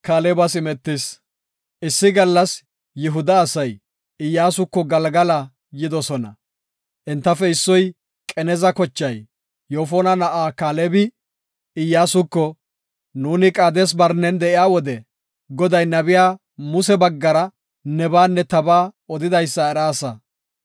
Issi gallas Yihuda asay Iyyasuko Galgala yidosona. Entafe issoy, Qeneza kochay, Yoofona na7ay Kaalebi Iyyasuko, “Nuuni Qaades-Barnen de7iya wode Goday nabiya Muse baggara nebaanne tabaa odidaysa eraasa.